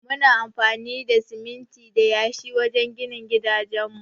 Muna amfani da siminti da yashi wajen gina gidajen mu.